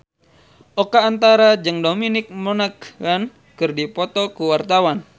Oka Antara jeung Dominic Monaghan keur dipoto ku wartawan